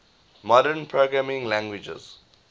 modern programming languages